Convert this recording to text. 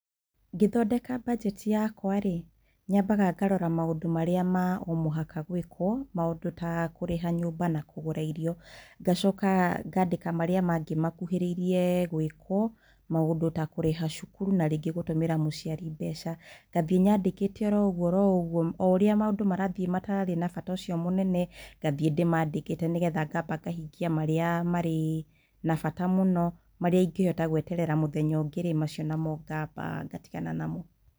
Ngĩthondeka mbanjeti yakwa -rĩ, nyambaga ngarora maũndũ marĩa ma o mũhaka gwĩkwo, maũndũ ta kũrĩha nyũmba na kũgũra irio, ngacoka ngandĩka marĩa mangĩ makuhĩrĩririe nwĩkwo, maũndũ ta kũrĩha cukuru na rĩngĩ gũtũmĩra mũciari mbeca. Ngathiĩ nyandĩkĩte oroũguo oroũguo, o ũrĩa maũndũ marathiĩ matarĩ na bata ũcio mũnene, ngathiĩ ndĩmandĩkĩte nĩgetha ngahingia marĩa marĩ na bata mũno. Marĩa ingĩhota gweterera mũthenya ũngĩ-rĩ, macio namo ngamba ngatigana namo.